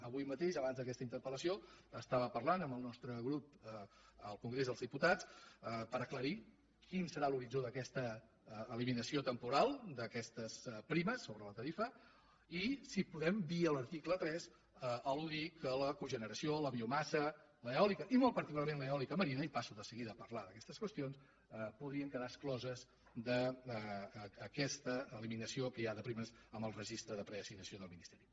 avui mateix abans d’aquesta interpel·lació estava parlant amb el nostre grup al congrés dels diputats per aclarir quin serà l’horitzó d’aquesta eliminació temporal d’aquestes primes sobre la tarifa i si podem via l’article tres al·neració la biomassa l’eòlica i molt particularment l’eòlica marina i passo de seguida a parlar d’aquestes qüestions podrien quedar excloses d’aquesta eliminació que hi ha de primes en el registre de preassignació del ministeri